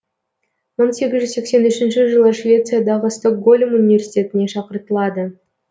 мың сегіз жүз сексен үшінші жылы швециядағы стокгольм университетіне шақыртылады